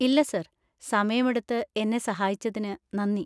ഇല്ല, സർ. സമയം എടുത്ത് എന്നെ സഹായിച്ചതിന് നന്ദി!